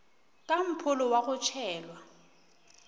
ka mpholo wa go tšhelwa